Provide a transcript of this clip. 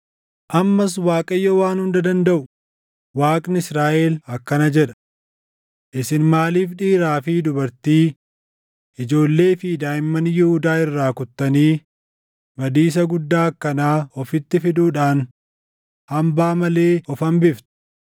“Ammas Waaqayyo Waan Hunda Dandaʼu, Waaqni Israaʼel akkana jedha: Isin maaliif dhiiraa fi dubartii, ijoollee fi daaʼimman Yihuudaa irraa kuttanii badiisa guddaa akkanaa ofitti fiduudhaan hambaa malee of hambiftu?